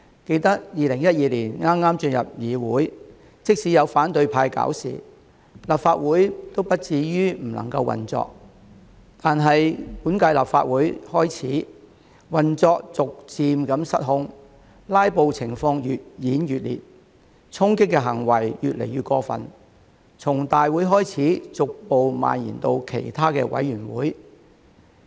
記得2012年剛進入議會，即使有反對派"搞事"，立法會亦不至於不能夠運作，但本屆立法會開始，運作逐漸失控，"拉布"情況越演越烈，衝擊行為越來越過分，從大會開始，逐步蔓延到其他委員會。